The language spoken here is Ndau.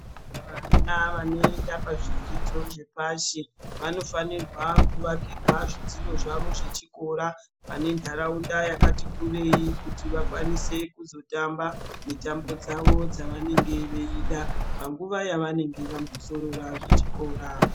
Vana vanoenda pazvidzidzo zvepashi. Vanofanirwa kuvakirwa zvitiro zvavo zvechikora pane ndaraunda yakati kurei kuti vakwanise kuzotamba mitambo dzavo dzavanenge veida panguva yavanenge vambozorora zvechikora.